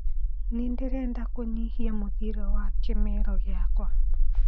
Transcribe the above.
nii ndĩrenda kunyihia muthiire wa kimeero giakwa